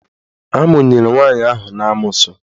Amụnyere nwaanyị ahụ n'amoosu.